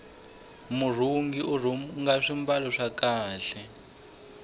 murhungi urhunga swimbalo swa kahle